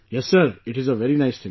Yes Sir, it is a very nice thing